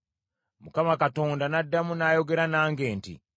Mukama Katonda n’addamu n’ayogera nange nti,